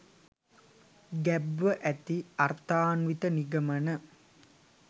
ගැබ්ව ඇති අර්ථාන්විත නිගමන